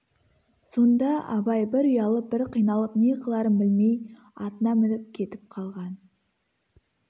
сонда абай бір ұялып бір қиналып не қыларын білмей атына мініп кетіп қалған